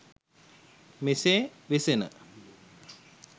මෙසේ වෙසෙන